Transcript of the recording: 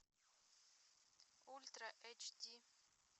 ультра эйч ди